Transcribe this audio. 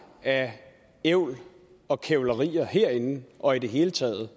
af ævl og kævlerier herinde og i det hele taget